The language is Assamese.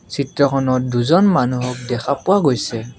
চিত্ৰখনত দুজন মানুহক দেখা পোৱা গৈছে।